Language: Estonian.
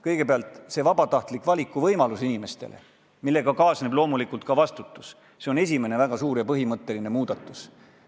Kõigepealt, vabatahtlikkusele tuginev valikuvõimalus, millega kaasneb loomulikult ka vastutus – see on väga suur ja põhimõtteline muudatus.